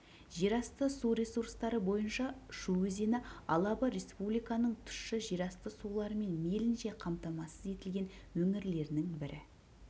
жер асты су ресурстары бойынша шу өзені алабы республиканың тұщы жерасты суларымен мейлінше қамтамасыз етілген өңірлерінің бірі